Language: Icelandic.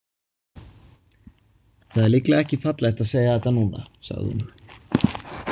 Það er líklega ekki fallegt að segja þetta núna, sagði hún.